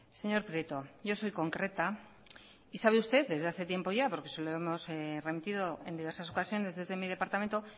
señor prieto yo soy concreta y sabe usted desde hace tiempo ya porque se lo hemos remitido en diversas ocasiones desde mi departamento